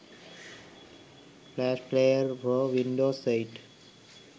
flash player for windows 8